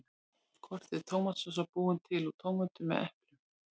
Hvort er tómatsósa búin til úr tómötum eða eplum?